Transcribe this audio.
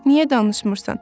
Niyə danışmırsan?